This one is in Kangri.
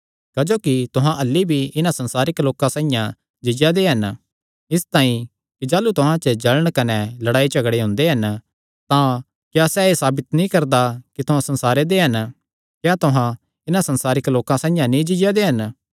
क्जोकि तुहां अह्ल्ली भी इन्हां संसारिक लोकां साइआं जीआ दे हन इसतांई कि जाह़लू तुहां च जल़ण कने लड़ाई झगड़े हुंदे हन तां क्या सैह़ एह़ साबित नीं करदा कि तुहां संसारे दे हन क्या तुहां इन्हां संसारिक लोकां साइआं नीं जीआ दे हन